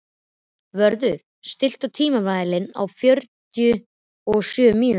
Vörður, stilltu tímamælinn á fimmtíu og sjö mínútur.